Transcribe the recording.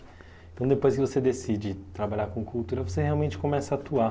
Então, depois que você decide trabalhar com cultura, você realmente começa a atuar?